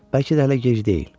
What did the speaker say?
Bəlkə də hələ gec deyil.